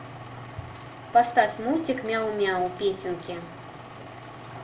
поставь мультик мяу мяу песенки